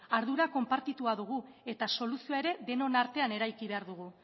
ardura konpartitua dugu eta soluzioa ere denon artean eraiki behar dugu